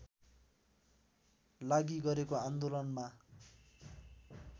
लागि गरेको आन्दोलनमा